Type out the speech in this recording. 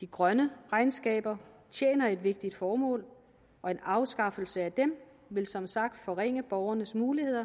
de grønne regnskaber tjener et vigtigt formål og en afskaffelse af dem vil som sagt forringe borgernes muligheder